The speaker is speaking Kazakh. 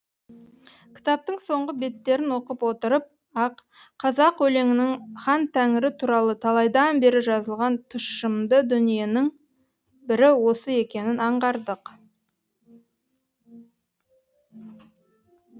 кітаптың соңғы беттерін оқып отырып ақ қазақ өлеңінің хантәңірі туралы талайдан бері жазылған тұщымды дүниенің бірі осы екенін аңғардық